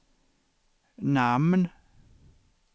namn